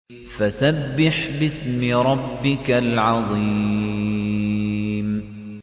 فَسَبِّحْ بِاسْمِ رَبِّكَ الْعَظِيمِ